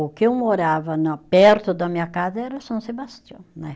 O que eu morava na perto da minha casa era São Sebastião, né